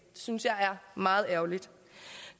synes jeg er meget ærgerligt